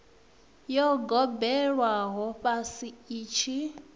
yo gobelelwaho fhasi i tshi